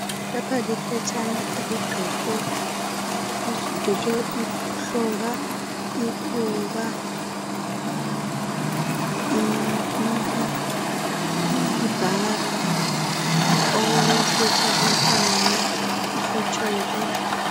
Lapha liphetshana elidwetshwe ihloka, ikhuba , ipiki, ibhara, okokusika utshani, ifotsholo.